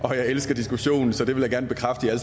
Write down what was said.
og jeg elsker diskussion så jeg vil gerne bekræfte at